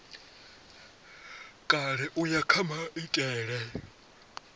kale u ya kha maitele